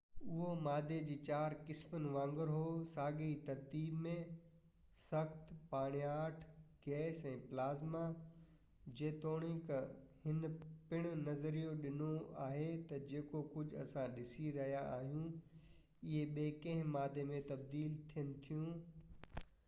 اهو مادي جي چار قسمن وانگر هو ساڳئي ترتيب ۾: سخت، پاڻياٺ، گئس ۽ پلازما، جيتوڻڪ هن پڻ نظريو ڏنو آهي تہ جيڪو ڪجهہ اسان ڏسي رهيا آهيون اهي ٻي ڪنهن مادي ۾ تبديل ٿين ٿيون